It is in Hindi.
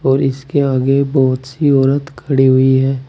और इसके आगे बहुत सी औरत खड़ी हुई है।